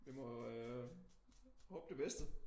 Vi må øh håbe det bedste